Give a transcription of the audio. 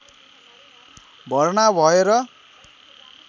भर्ना भए र